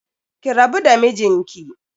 Ki rabu da mijinki.